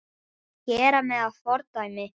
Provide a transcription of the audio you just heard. Gera mig að fordæmi?